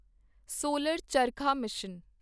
solar charkha mission